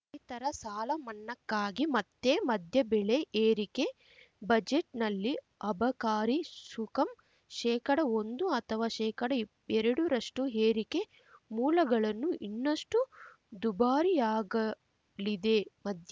ರೈತರ ಸಾಲಮನ್ನಾಕ್ಕಾಗಿ ಮತ್ತೆ ಮದ್ಯ ಬೆಲೆ ಏರಿಕೆ ಬಜೆಟ್‌ನಲ್ಲಿ ಅಬಕಾರಿ ಸುಕಂ ಶೇಕಡಒಂದು ಅಥವಾ ಶೇಕಡಇಪ್ ಎರಡರಷ್ಟುಏರಿಕೆ ಮೂಲಗಳನ್ನು ಇನ್ನಷ್ಟುದುಬಾರಿಯಾಗಲಿದೆ ಮದ್ಯ